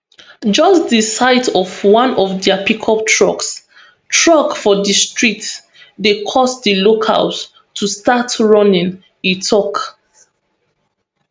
just di sight of one of dia pickup trucks trucks for di street dey cause di locals to start running e tok